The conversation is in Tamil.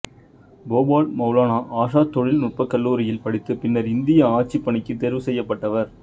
போபால் மௌலானா ஆசாத் தொழில் நுட்ப கல்லூரியில் படித்து பின்னர் இந்திய ஆட்சிப் பணிக்கு தேர்வு செய்யப்பட்டவர்